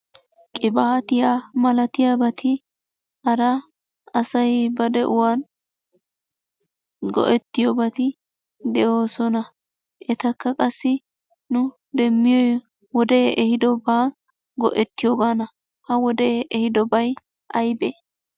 Qibaatiya malatiyabati hara asay ba de'uwan go'ettiyobati de'oosona. Etakka qassi nu demmiyoy wodee ehidobaa go'ettiyogaana. Ha wodee ehidobay ayibee?